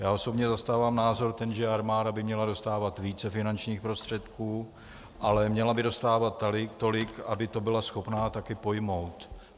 Já osobně zastávám názor ten, že armáda by měla dostávat více finančních prostředků, ale měla by dostávat tolik, aby to byla schopna také pojmout.